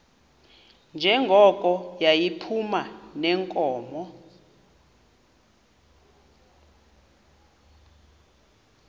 njengoko yayiphuma neenkomo